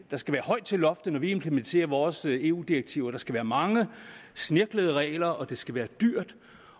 der skal være højt til loftet når vi implementerer vores eu direktiver der skal være mange snirklede regler og det skal være dyrt